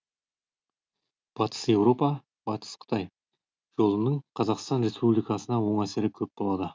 батыс еуропа батыс қытай жолының қазақстан республикасына оң әсері көп болады